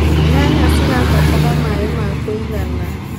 Nyanya cirabatara maĩ ma kũigana.